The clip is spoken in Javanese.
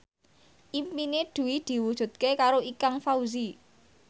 impine Dwi diwujudke karo Ikang Fawzi